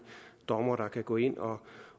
dommer der kan gå ind